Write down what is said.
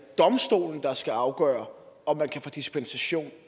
domstolen der skal afgøre om man kan få dispensation